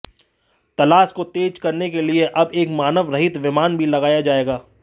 तलाश को तेज करने के लिए अब एक मानव रहित विमान भी लगाया जाएगा